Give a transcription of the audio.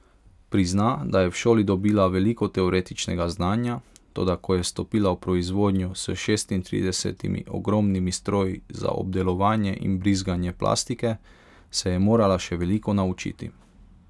Prizna, da je v šoli dobila veliko teoretičnega znanja, toda ko je stopila v proizvodnjo s šestintridesetimi ogromnimi stroji za obdelovanje in brizganje plastike, se je morala še veliko naučiti.